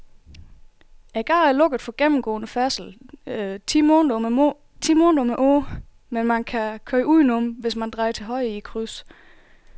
Gaden er lukket for gennemgående færdsel ti måneder om året, men man kan køre udenom, hvis man drejer til højre i krydset.